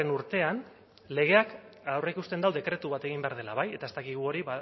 urtean legeak aurreikusten du dekretu bat egin behar dela bai eta ez dakigu hori